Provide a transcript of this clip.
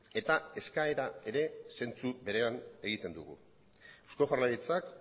eta eskaera ere zentzu berean egiten dugu eusko jaurlaritzak